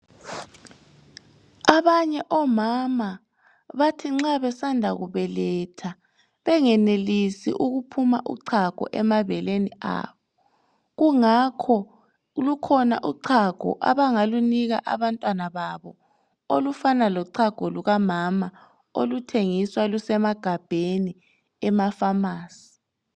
Abanye omama bathi nxa besanda kubeletha bengenelisi ukuphuma uchago emabeleni abo kungakho lukhona uchago abangalunika abantwana babo .Olufana lochago lukamama oluthengiswa lusemagabheni ema pharmacy .